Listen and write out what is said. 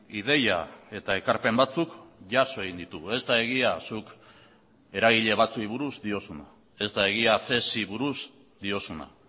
ideia eta ekarpen batzuk jaso egin ditugu ez da egia zuk eragile batzuei buruz diozuna ez da egia cesi buruz diozuna